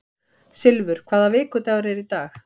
Silfur, hvaða vikudagur er í dag?